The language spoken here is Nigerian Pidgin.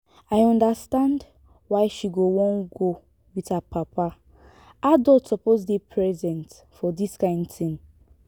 i understand why she go wan go with her papa adult suppose dey present for dis kyn thing